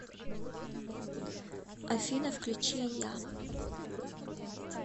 афина включи я